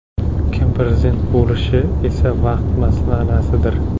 Kim prezident bo‘lishi esa vaqt masalasidir.